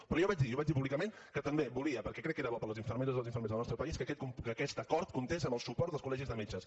però jo vaig dir i ho vaig dir públicament que també volia perquè crec que era bo per a les infermeres i els infermers del nostre país que aquest acord comptés amb el suport dels col·legis de metges